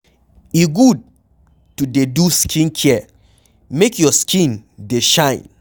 E good to dey do skincare make your skin dey shine